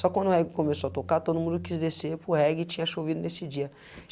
Só quando o reggae começou a tocar, todo mundo quis descer para o reggae e tinha chovido nesse dia.